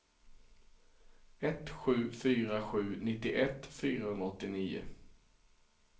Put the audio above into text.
ett sju fyra sju nittioett fyrahundraåttionio